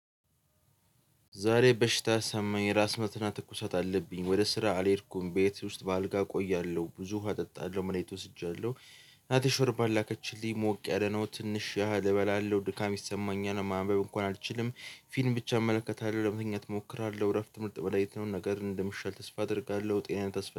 ዛሬ በሽታ ሰማኝ ራስ ምታትና ትኩሳት አለብኝ ወደ ስራ አልሄድኩም ቤት ውስጥ በአልጋ እቆያለሁ ብዙ ውሃ እጠጣለሁ መድሃኒት ወስጃለሁ። ናቲ ሾርባ ላከችልኝ ሞቅ ያለ ነው ትንሽ ያህል እበላለሁ ድካም ይሰማኛል ማንበብ እንኳን አልችልም። ፊልም ብቻ እመለከታለሁ ለምተኛት እሞክራለሁ እረፍት ምርጥ በላይ የተሆነ ነገ እንደምሻል ተስፋ አደርጋለሁ። ጤና ተስፋ